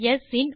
ஸ் இன்